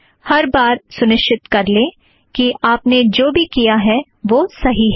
हर बार सुनिश्चित कर लें कि आपने जो भी किया है वह सही है